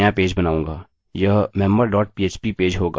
यह member dot php page होगा